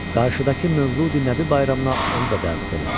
Qarşıdakı Mövludi Nəbi bayramına onu da dəvət elə.